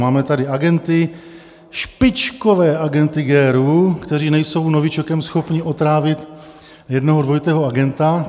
Máme tady agenty, špičkové agenty GRU, kteří nejsou novičokem schopni otrávit jednoho dvojitého agenta.